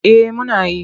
Eh muna yi.